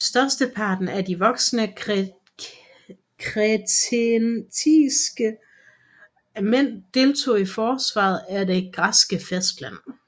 Størsteparten af de voksne kretensiske mænd deltog i forsvaret af det græske fastland